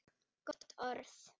Gott orð.